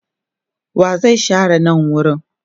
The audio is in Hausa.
wa zai share nan wurin?